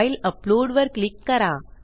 file uploadवर click करा